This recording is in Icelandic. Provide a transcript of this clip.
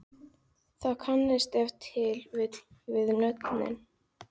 þið kannist ef til vill við nöfnin?